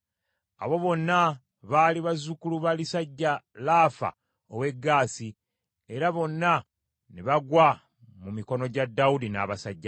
Abo bonna baali bazzukulu ba lisajja Laafa ow’e Gaasi, era bonna ne bagwa mu mikono gya Dawudi n’abasajja be.